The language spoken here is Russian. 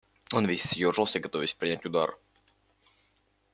он весь съёжился готовясь принять удар